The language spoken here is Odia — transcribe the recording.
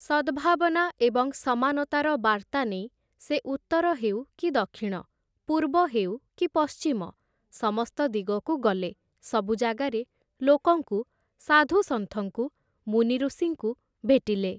ସଦ୍ଭାବନା ଏବଂ ସମାନତାର ବାର୍ତ୍ତା ନେଇ ସେ ଉତ୍ତର ହେଉ କି ଦକ୍ଷିଣ, ପୂର୍ବ ହେଉ କି ପଶ୍ଚିମ ସମସ୍ତ ଦିଗକୁ ଗଲେ, ସବୁ ଜାଗାରେ ଲୋକଙ୍କୁ, ସାଧୁ ସନ୍ଥଙ୍କୁ, ମୁନିଋଷିଙ୍କୁ ଭେଟିଲେ ।